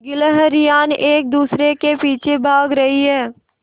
गिल्हरियान एक दूसरे के पीछे भाग रहीं है